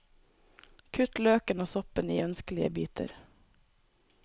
Kutt løken og soppen i ønskelige biter.